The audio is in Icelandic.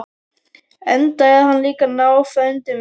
Enda er hann líka náfrændi minn!